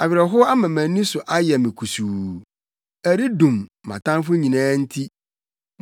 Awerɛhow ama mʼani so ayɛ me kusuu. Ɛredum; mʼatamfo nyinaa nti.